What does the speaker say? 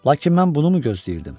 Lakin mən bunu mu gözləyirdim?